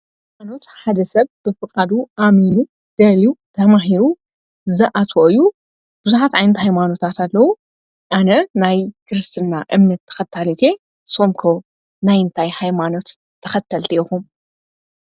ሃይማኖት ሓደ ሰብ ብፍቓዱ ኣሚኑ ደልዩ ተማሂሩ ዘኣትኦ እዩ። ብዙኃት ዓይንቲ ሕይማኖታት ኣለዉ ኣነ ናይ ክርስትና እምነት ተኸታልቴ ሶምኮ ናይንታይ ኃይማኖት ተኸተልቲ ኢኹም?